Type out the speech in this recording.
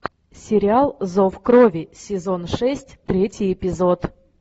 сериал зов крови сезон шесть третий эпизод